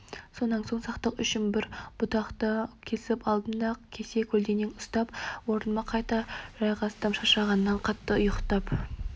сонан соң сақтық үшін бір бұтақты кесіп алдым да кесе-көлденең ұстап орныма қайта жайғастым шаршағаннан қатты ұйықтап